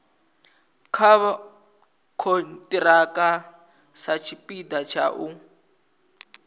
nga khonthiraka satshipida tsha u